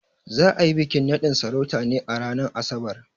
Za a yi bikin naɗin sarautar ne a ranar Asabar.